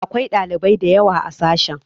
Akwai ɗalibai da yawa a sashen.